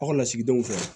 Aw ka lasigidenw fɛ